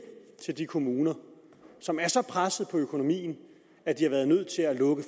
til der er kommuner som er så pressede på økonomien at de har været nødt til at lukke